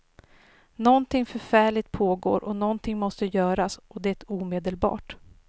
Nånting förfärligt pågår och nånting måste göras och det omedelbart.